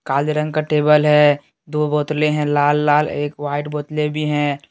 काले रंग का टेबल है दो बोतले है लाल लाल एक वाइट बोतले भी है।